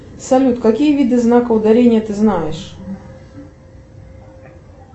салют какие виды знаков ударения ты знаешь